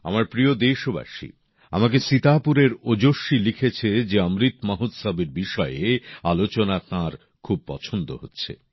আমার প্রিয় দেশবাসী আমাকে সীতাপুরের ওজস্বী লিখেছে যে অমৃত মহোৎসবের বিষয়ে আলোচনা তাঁর খুব পছন্দ হচ্ছে